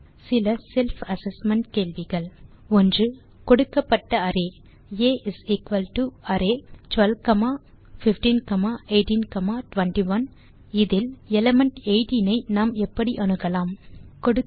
நீங்கள் தீர்வு காண இதோ சில செல்ஃப் அசெஸ்மென்ட் கேள்விகள் 1கொடுக்கப்பட்ட அரே ஆ array12 15 18 21 எலிமெண்ட் 18 ஐ நாம் எப்படி அணுகலாம்